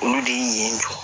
Olu de ye